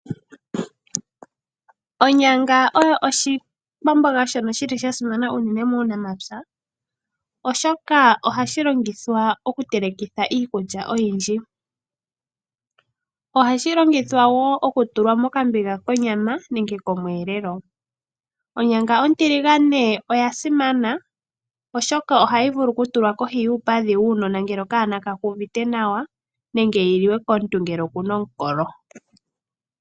Onyanga oyo oshikwamboga shoka sha simana unene muunamapya, oshoka ohashi longithwa okutelekithwa iikulya oyindji. Ohashi longithwa wo okutulwa mokambiga konyama nenge komweelelo. Onyanga ontiligane oya simana, oshoka ohayi vulu okutulwa kohi yuupadhi wuunona ngele okanona ka ku uvite nawa nenge yi liwe komuntu ngele oku na omukolo.